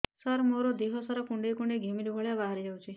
ସାର ମୋର ଦିହ ସାରା କୁଣ୍ଡେଇ କୁଣ୍ଡେଇ ଘିମିରି ଭଳିଆ ବାହାରି ଯାଉଛି